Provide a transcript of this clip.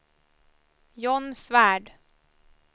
John Svärd